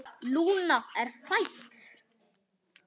Lúna er fædd.